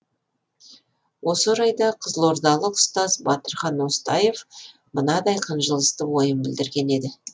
осы орайда қызылордалық ұстаз батырхан остаев мынадай қынжылысты ойын білдірген еді